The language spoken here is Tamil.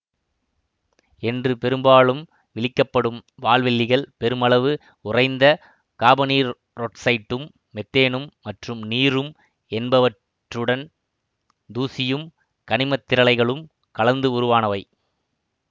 என்று பெரும்பாலும் விளிக்கப்படும் வால்வெள்ளிகள் பெருமளவு உறைந்த காபனீரொட்சைட்டும் மெத்தேனும் மற்றும் நீரும் என்பவற்றுடன் தூசியும் கனிமத்திரளைகளும் கலந்து உருவானவை